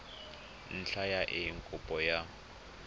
ntlha ya eng kopo ya